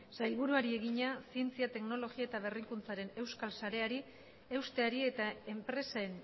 sailburuari egina zientzia teknologia eta berrikuntzaren euskal sareari eusteari eta enpresen